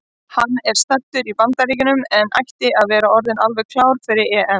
Hann er staddur í Bandaríkjunum en ætti að vera orðinn alveg klár fyrir EM.